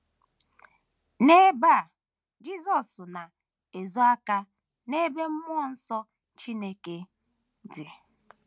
N’ebe a Jisọs na - ezo aka n’ebe mmụọ nsọ Chineke dị.